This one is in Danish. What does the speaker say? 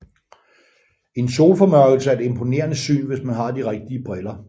En solformørkelse er et imponerende syn hvis man har de rigtige briller